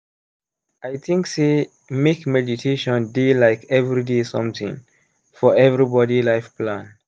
i think sey make meditation dey like everyday something for everybody life plan.